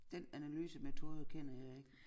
Dén analysemetode kender jeg ikke